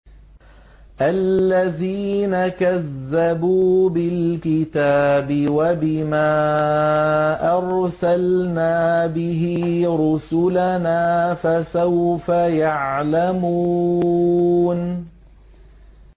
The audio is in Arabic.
الَّذِينَ كَذَّبُوا بِالْكِتَابِ وَبِمَا أَرْسَلْنَا بِهِ رُسُلَنَا ۖ فَسَوْفَ يَعْلَمُونَ